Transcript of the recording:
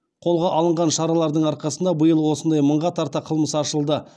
қолға алынған шаралардың арқасында биыл осындай мыңға тарта қылмыс ашылды